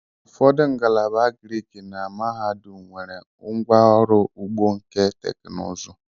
Ụfọdụ ngalaba Agrik na mahadum nwere ngwa ọrụ ugbo nke teknụzụ.